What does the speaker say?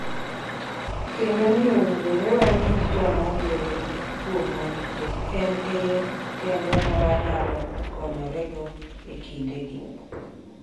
Kendo ni owinjore wawinj joma wuoyo kuomwa nikech en e yo kende ma wanyalo konyorego e kindegi.